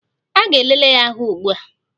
A ga-elele ya ahụ ugbua